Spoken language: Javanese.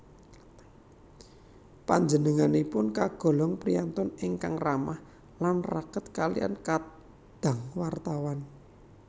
Panjenenganipun kagolong priyantun ingkang ramah lan raket kaliyan kadang wartawan